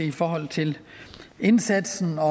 i forhold til indsatsen og